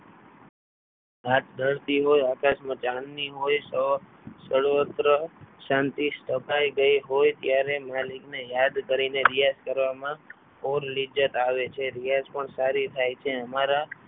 આપ ધરતી હોય આકાશમાં ચાંદની હોય સર્વત્ર શાંતિ સ્થપાઈ ગઈ હોય ત્યારે માલિકને યાદ કરીને રિયાઝ કરવામાં આવે છે રિયાઝ પણ સારી થાય છે.